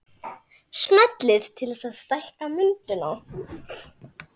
Smellið til að stækka myndina